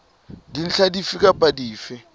dintlha dife kapa dife tse